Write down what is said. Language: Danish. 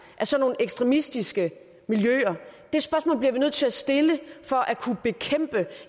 af sådan nogle ekstremistiske miljøer det spørgsmål bliver vi nødt til at stille for at kunne bekæmpe